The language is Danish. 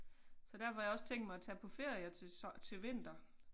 Så derfor har jeg også tænkt mig at tage på ferie til til vinter